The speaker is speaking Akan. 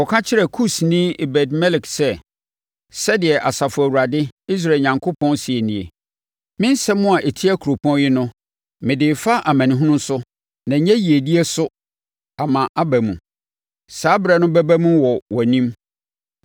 “Kɔka kyerɛ Kusni Ebed-Melek sɛ, ‘Sɛdeɛ Asafo Awurade, Israel Onyankopɔn, seɛ nie: Me nsɛm a ɛtia kuropɔn yi no mede refa amanehunu so na ɛnyɛ yiedie so ama aba mu. Saa ɛberɛ no ɛbɛba mu wɔ wʼanim.